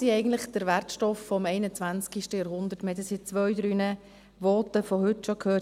Wir haben das jetzt in zwei, drei Voten von heute schon gehört.